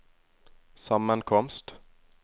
sammenkomst